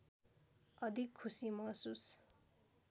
अधिक खुसी महसुस